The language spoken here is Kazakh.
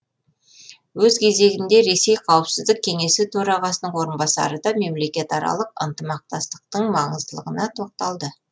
өз кезегінде ресей қауіпсіздік кеңесі төрағасының орынбасары да мемлекетаралық ынтымақтастықтың маңыздылығына тоқталды